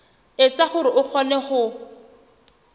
etsa hore o kgone ho